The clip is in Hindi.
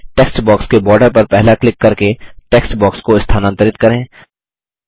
टेक्स्ट बॉक्स के बॉर्डर पर पहला क्लिक करके टेक्स्ट बॉक्स को स्थानांतरित करें